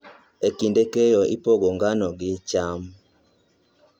E kinde keyo, ipogo ngano gi cham.